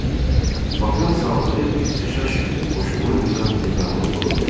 Bak-ın saldığı ixtişaş qoşqunun nizam-intizamını pozmuşdu.